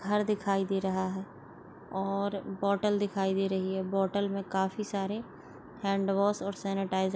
घर दिखाई दे रहा है और बोटेल दिखाई दे रहे है बोटेल मे काफी सारे हैंड वॉश और सेनीटाजर --